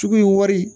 Cogo in wari